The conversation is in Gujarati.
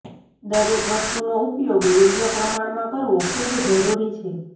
દરેક વસ્તુનો ઉપયોગ યોગ્ય પ્રમાણમાં કરવો ખૂબ જરૂરી છે